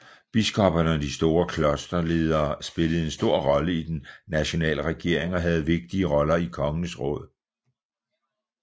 Biskopperne og de store klosterledere spillede en stor rolle i den nationale regering og havde vigtige roller i kongens råd